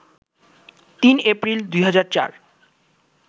৩ April, ২০০৪